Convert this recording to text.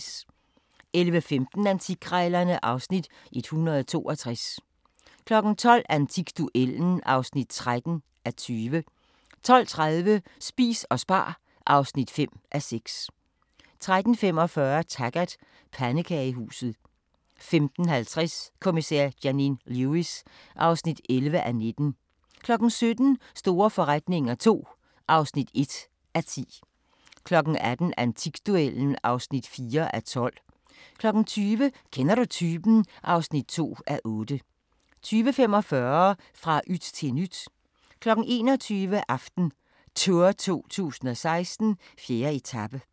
11:15: Antikkrejlerne (Afs. 162) 12:00: Antikduellen (13:20) 12:30: Spis og spar (5:6) 13:45: Taggart: Pandekagehuset 15:50: Kommissær Janine Lewis (11:19) 17:00: Store forretninger II (1:10) 18:00: Antikduellen (4:12) 20:00: Kender du typen? (2:8) 20:45: Fra yt til nyt 21:00: AftenTour 2016: 4. etape